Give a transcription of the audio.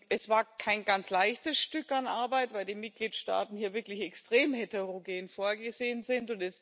Es war kein ganz leichtes Stück an Arbeit, weil die Mitgliedstaaten hier wirklich extrem heterogen vorgegangen sind.